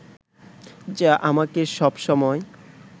যা আমাকে সব সময়